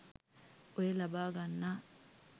ඔය ලබා ගන්නා